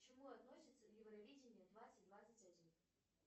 к чему относится евровидение двадцать двадцать один